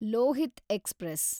Lohith express